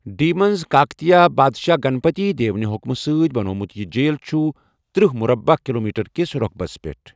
D منٛز کاکتیہ پادشاہ گنپتی دیو نہِ حُکمہٕ سۭتۍ بنٛووٚمُت، یہِ جیٖل چھُ تٔرہ مربع کلوٗمیٹر کِس رۄقبَس پٮ۪ٹھ ۔